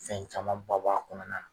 Fɛn caman ba b'a kɔnɔna na.